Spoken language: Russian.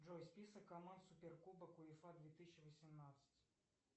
джой список команд суперкубок уефа две тысячи восемнадцать